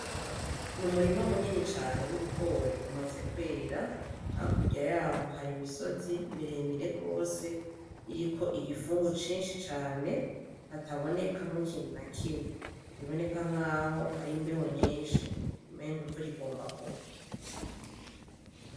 N'umurima munini cane w'ibigori umaze kwera hakurya yaho hari imisozi miremire gose iriko igifungu cinshi cane hatabonekamwo ikintu na kimwe biboneka nkaho hari imbeho nyinshi umengo imvura igomba kugwa.